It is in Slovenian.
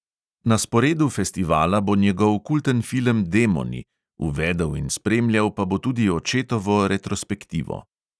Na sporedu festivala bo njegov kulten film demoni, uvedel in spremljal pa bo tudi očetovo retrospektivo.